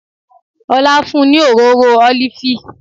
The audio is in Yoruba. Ọlá fún un ní òróró ólífì